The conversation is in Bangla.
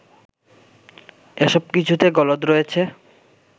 এসব কিছুতে গলদ রয়েছে